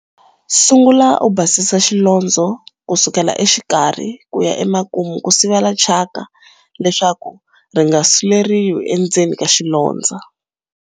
Sungula u basisa xilondzo ku sukela exikarhi ku ya emakumu ku sivela thyaka leswaku ri nga suleriwi endzeni ka xilondzo.